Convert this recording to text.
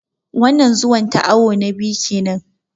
Wannan Zuwan ta awu na biyu kenan